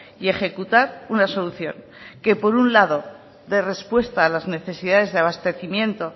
y ejecutar una solución que por un lado de respuesta a las necesidades de abastecimiento